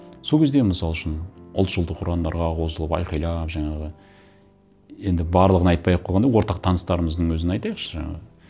сол кезде мысал үшін ұлтшылдық ұрандарға қосылып айқайлап жаңағы енді барлығын айтпай ақ қойғанда ортақ таныстарымыздың өзін айтайықшы